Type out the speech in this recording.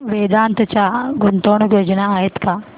वेदांत च्या गुंतवणूक योजना आहेत का